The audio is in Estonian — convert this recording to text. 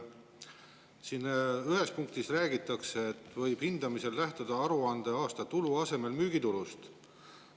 Siin ühes punktis räägitakse, et hindamisel võib lähtuda aruandeaasta tulu asemel müügitulust.